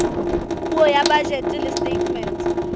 puo ya bajete le setatemente